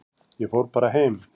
Ég fór bara heim.